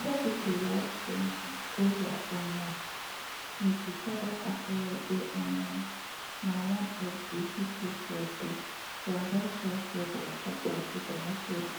whether pipo like cyril ramaphosa or not we gatz acknowledge say im na one of di pipo for di transition from apartheid to democracy